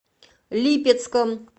липецком